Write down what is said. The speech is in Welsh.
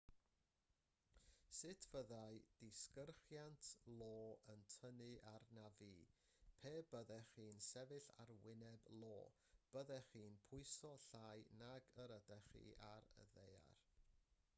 sut fyddai disgyrchiant io yn tynnu arnaf fi pe byddech chi'n sefyll ar wyneb io byddech chi'n pwyso llai nag yr ydych chi ar y ddaear